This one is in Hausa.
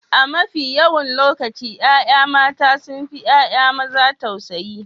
A mafi yawan lokaci ƴaƴa mata sun fi ƴaƴa maza tausayi.